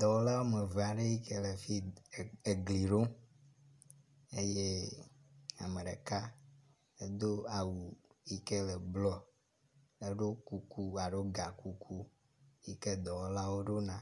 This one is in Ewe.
Dɔwɔla wɔme eve aɖe yi ke le fi egli ɖom eye ame ɖeka edo awu yi ke le blɔ eɖo kuku alo gakuku yi ke dɔwɔlawo ɖo na.